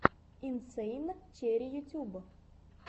инсэйн черри ютьюб